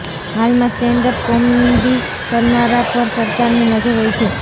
હાલમાં stand up comedy કરનારાં પર સરકારની નજર હોય છે